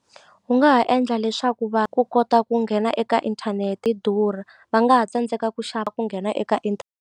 U nga ha endla leswaku va ku kota ku nghena eka inthanete yi durha va nga ha tsandzeka ku ku nghena eka .